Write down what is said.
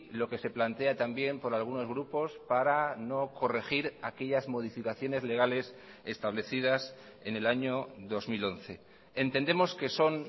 lo que se plantea también por algunos grupos para no corregir aquellas modificaciones legales establecidas en el año dos mil once entendemos que son